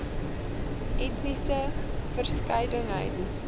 etniese verskeidenheid